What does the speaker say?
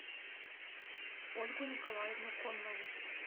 ольгу николаевну коннову